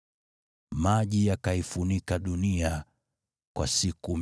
Maji yakaifunika dunia kwa siku 150.